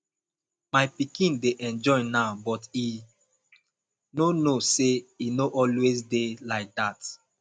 my pikin dey enjoy now but e no know say e no always dey like dat